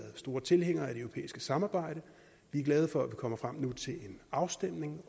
store tilhængere af det europæiske samarbejde vi er glade for at kommer frem til en afstemning